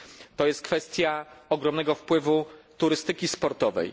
To jest kwestia ogromnego wpływu turystyki sportowej.